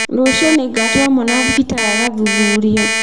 Rũciũ nĩngatwara mwana thibitarĩ agathuthurio